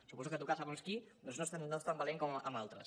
suposo que tocar segons qui doncs no és tant valent com amb altres